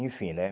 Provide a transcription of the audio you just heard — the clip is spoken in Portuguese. Enfim, né?